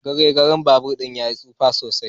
Garegaren babur din yayi tsufa sosai.